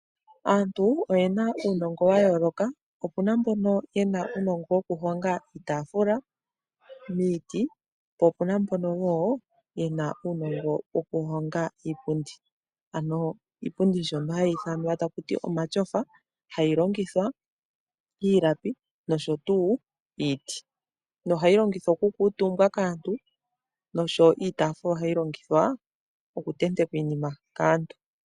Aantu oyena uunongo wa yooloka, opuna mbono yena uunongo woku honga iitafula miiti po opuna mbono wo yena uunongo woku honga iipundi, ano iipundi mbyono hayi ithanwa takuti omatyofa hayi longithwa iilapi nosho tuu iiti, nohayi longithwa oku kuutumbwa kaantu nosho iitafuula ohayi longithwa okuntentekwa iinima kaantu.